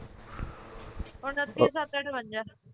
ਉੱਨਤੀ ਸੱਤ ਅਠਵਜਾ